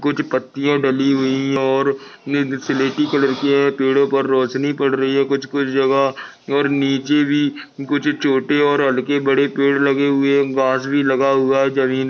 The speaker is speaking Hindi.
कुछ पट्टिया डली हुई है और कलर की है पेड़ों पर रोशनी पड़ रही है कुछ कुछ जगह और नीचे भी कुछ छोटे और अड़के बड़े पेड़ ले हुए है घास भी लगा हुआ जमीन--